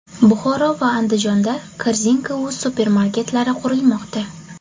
Buxoro va Andijonda Korzinka.uz supermarketlari qurilmoqda.